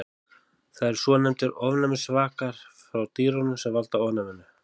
Það eru svonefndir ofnæmisvakar frá dýrunum sem valda ofnæminu.